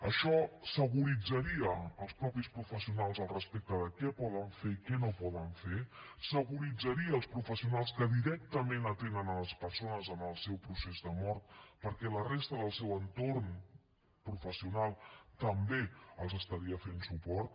això securitzaria els mateixos professionals al respecte de què poden fer i què no poden fer securitzaria els professionals que directament atenen les persones en el seu procés de mort perquè la resta del seu entorn professional també els estaria fent suport